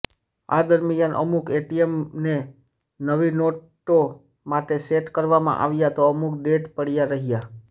આ દરમિયાન અમુક એટીએમને નવી નોટો માટે સેટ કરવામાં આવ્યા તો અમુક ડેડ પડ્યા રહ્યા